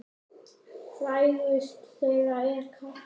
Frægust þeirra er Katla.